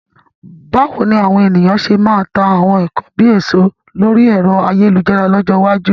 Báwo ni àwọn ènìyàn ṣe máa ta àwọn nkan bíi ẹ̀ṣọ́ lórí ẹ̀rọ ayélujára lọ́jọ́ iwájú?